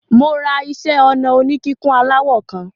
Mo ra iṣẹ́-ọnà oníkíkùn aláwọ̀ kan.